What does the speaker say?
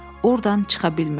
Ordan çıxa bilmirdi.